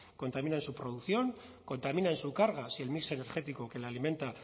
contamina en su producción contamina en su carga si el mix energético que le alimenta